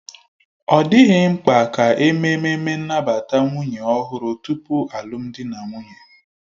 Ọ dịghị mkpa ka eme ememme nnabata nwunye ọhụrụ tupu alụmdi na nwunye